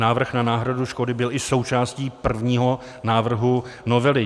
Návrh na náhradu škody byl i součástí prvního návrhu novely.